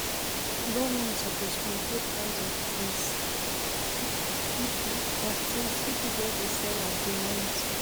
Government suppose control price of tins, pipo of tins, pipo just dey sell as dem want.